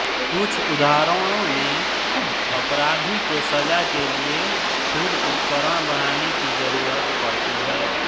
कुछ उदाहरणों में अपराधी को सजा के लिए खुद उपकरण बनाने की जरूरत पड़ती है